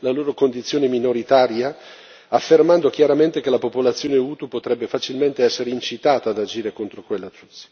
la loro condizione minoritaria, affermando chiaramente che la popolazione Hutu potrebbe facilmente essere incitata ad agire contro quella Tutsi.